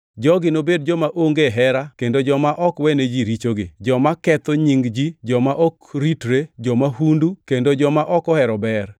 jogi nobed joma onge hera kendo joma ok wene ji richogi, joma ketho nying ji; joma ok ritre, jo-mahundu, kendo joma ok ohero ber,